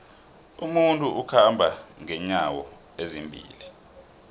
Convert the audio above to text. umuntu ukhamba nqenyawo ezimbili